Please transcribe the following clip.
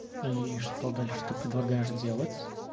и что дальше ты предлагаешь делать